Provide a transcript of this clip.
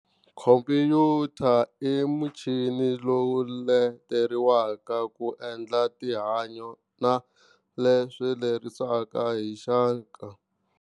Khompuyuta i muchini lowu leteriwaka ku endla tinhanyo na leswi lerisaka hi hixanka.